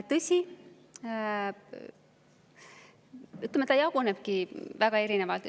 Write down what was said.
Tõsi, see jagunebki väga erinevalt.